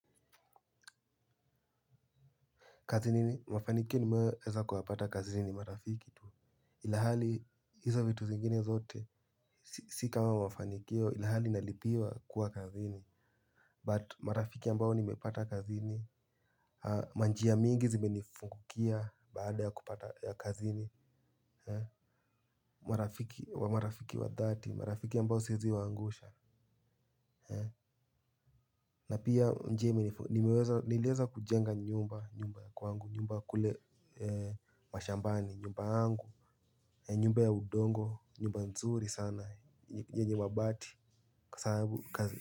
Kazini mafanikio nimeweza kuyapata kazini marafiki tuwe ilihali hizo vitu zingine zote. Si kama mafanikio ilihali nalipiwa kuwa kazini But marafiki ambao nimepata kazini. Manjia mingi zime nifungukia baada ya kupata ya kazini. Marafiki wa dhati marafiki ambao siezi wa angusha. Na pia niliweza kujenga nyumba kwangu, nyumba kule mashambani, nyumba yangu, ni nyumba ya udongo, nyumba nzuri sana, yenye mabati kwa sababu kazi.